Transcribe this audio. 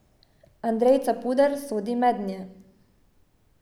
Andrej Capuder sodi mednje.